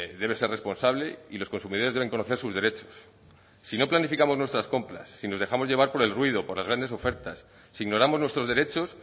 debe ser responsable y los consumidores deben conocer sus derechos si no planificamos nuestras compras si nos dejamos llevar por el ruido por las grandes ofertas si ignoramos nuestros derechos